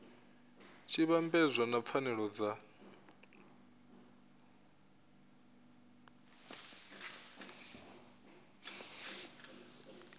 tshi vhambedzwa na pfanelo dza